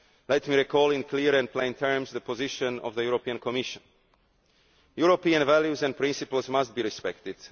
morning. Let me recall in clear and plain terms the position of the European Commission European values and principles must be respected.